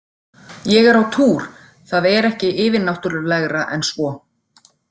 Ég er á túr, það er ekki yfirnáttúrlegra en svo.